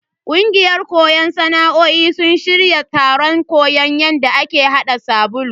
Kungiyan koyon sana'o'in sun shirya taron koyon yadda ake hada sabulu.